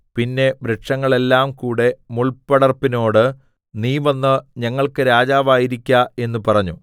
പിന്നെ വൃക്ഷങ്ങളെല്ലാം കൂടെ മുൾപടർപ്പിനോട് നീ വന്ന് ഞങ്ങൾക്ക് രാജാവായിരിക്ക എന്ന് പറഞ്ഞു